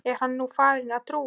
Er hann nú farinn að trúa?